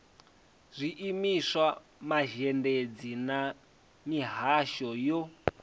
zwiimiswa mazhendedzi na mihasho yo